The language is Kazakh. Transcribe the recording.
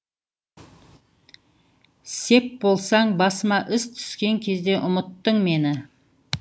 сеп болсаң басыма іс түскен кезде ұмыттың мені